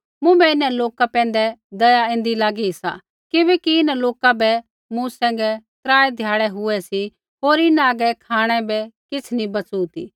मुँभै इन्हां लोका पैंधै दया ऐन्दी लागी सा किबैकि इन्हां लोका बै मूँ सैंघै त्रा ध्याड़ै हुऐ सी होर इन्हां हागै खाँणै बै किछ़ नी बैचु़ ती